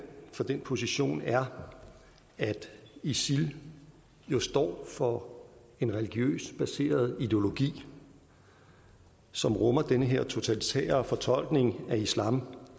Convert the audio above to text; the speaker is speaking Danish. for den position er at isil jo står for en religiøst baseret ideologi som rummer den her totalitære fortolkning af islam